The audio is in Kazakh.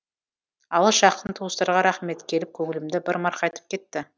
алыс жақын туыстарға рахмет келіп көңілімді бір марқайтып кетті